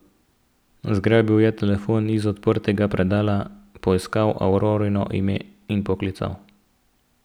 Zgrabil je telefon iz odprtega predala, poiskal Aurorino ime in poklical.